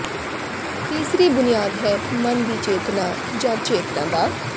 ਤੀਸਰੀ ਬੁਨਿਆਦ ਹੈ ਮਨ ਦੀ ਚੇਤਨਾ ਜਾਂ ਚੇਤਨਾ ਦਾ